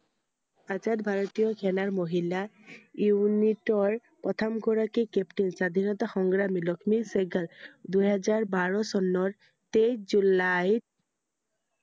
আজাদ ভাৰতীয় সেনাৰ মহিলা unit ৰ প্ৰথম গৰাকী captain, স্বাধীনতা সংগ্ৰামী লক্ষ্মী চেহ্গাল দুহেজাৰ বাৰ চনৰ তেইশ জুলাইত